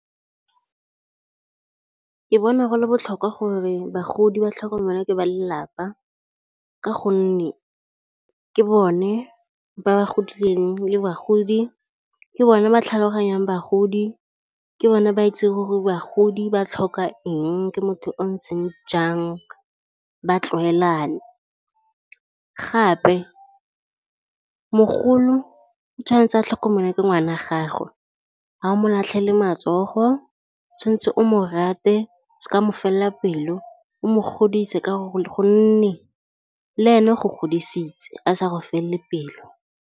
Ke bona go le botlhokwa gore bagodi ba tlhokomelwe ke ba lelapa ka gonne ke bone ba ba godileng le bagodi, ke bone ba tlhaloganyang bagodi, ke bone ba itseng gore bagodi ba tlhoka eng ke motho o o ntseng jang ba tlwaelana. Gape mogolo o tshwanetse a tlhokomelwe ke ngwana wa gagwe, ga o mo latlhelle matsogo tshwanetse o mo rate o seka mo felela pelo, o mo godise ka gonne le ene go godisitse a sa go felele pelo.